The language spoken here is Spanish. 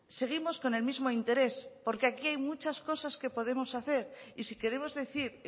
seguimos con el mismo interés porque aquí hay muchas cosas que podemos hacer y si queremos decir